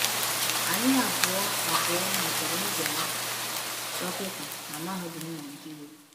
Anyị abụọ abụọ nwetara nzere dọkịta na Mahadum Naịjirịa.